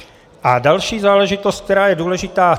A další záležitost, která je důležitá.